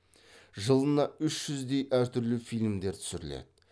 жылына үш жүздей әр түрлі фильмдер түсіріледі